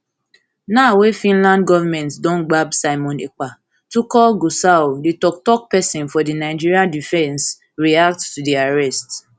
now wey finland govment don gbab simon ekpa tukur gusau di toktok pesin for di nigeria di nigeria defence react to di arrest